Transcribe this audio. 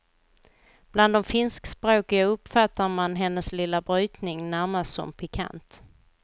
Bland de finskspråkiga uppfattar man hennes lilla brytning närmast som pikant.